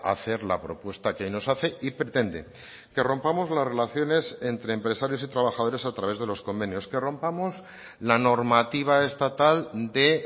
hacer la propuesta que nos hace y pretende que rompamos las relaciones entre empresarios y trabajadores a través de los convenios que rompamos la normativa estatal de